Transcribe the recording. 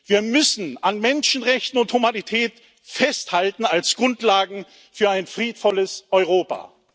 Wir müssen an Menschenrechten und Humanität festhalten als Grundlagen für ein friedvolles Europa!